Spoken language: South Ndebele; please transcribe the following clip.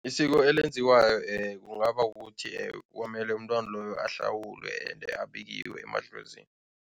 Isiko elenziwayo kungaba ukuthi kwamele umntwana loyo ahlawulwe ende abikiwe emadlozini.